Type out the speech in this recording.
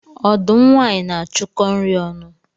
Ọdụm nwanyị na-achụkọ nri ọnụ